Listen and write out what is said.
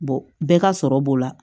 bɛɛ ka sɔrɔ b'o la